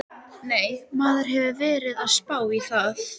Nei, maður hefur verið að spá í það.